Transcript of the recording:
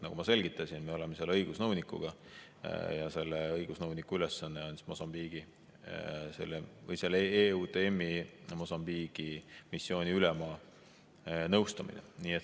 Nagu ma selgitasin, me oleme seal õigusnõunikuga ja selle õigusnõuniku ülesanne on EUTM‑i Mosambiigi missiooni ülema nõustamine.